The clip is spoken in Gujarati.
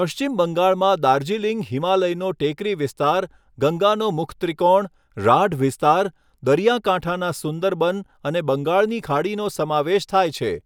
પશ્ચિમ બંગાળમાં દાર્જિલિંગ હિમાલયનો ટેકરી વિસ્તાર, ગંગાનો મુખત્રિકોણ, રાઢ વિસ્તાર, દરિયાકાંઠાના સુંદરબન અને બંગાળની ખાડીનો સમાવેશ થાય છે.